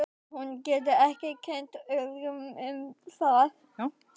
Hún getur ekki kennt öðrum um það.